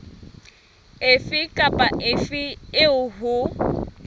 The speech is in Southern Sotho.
efe kapa efe eo ho